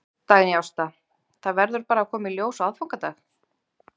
Dagný Ásta: Það verður bara að koma í ljós á aðfangadag?